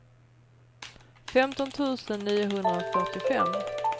femton tusen niohundrafyrtiofem